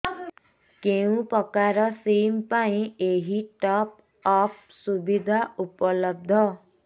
କେଉଁ ପ୍ରକାର ସିମ୍ ପାଇଁ ଏଇ ଟପ୍ଅପ୍ ସୁବିଧା ଉପଲବ୍ଧ